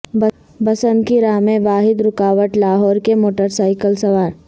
بسنت کی راہ میں واحد رکاوٹ لاہور کے موٹر سائیکل سوار